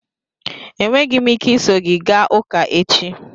Enweghị m ike iso gị gaa ụka echi